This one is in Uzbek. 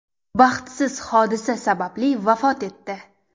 baxtsiz hodisa sababli vafot etdi.